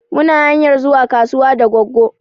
Mu na hanyar zuwa kasuwa da goggo